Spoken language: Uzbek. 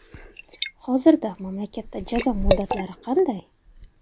Hozirda mamlakatda jazo muddatlari qanday?.